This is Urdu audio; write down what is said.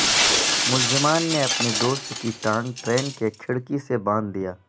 ملزمان نے اپنے دوست کی ٹانگ ٹرین کی کھڑکی سے باندھ دیا